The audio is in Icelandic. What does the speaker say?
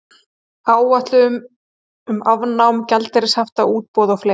Áætlun um afnám gjaldeyrishafta, útboð og fleira.